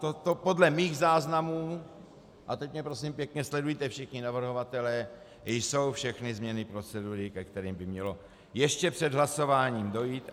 Toto podle mých záznamů, a teď mě prosím pěkně sledujte všichni navrhovatelé, jsou všechny změny procedury, ke kterým by mělo ještě před hlasováním dojít.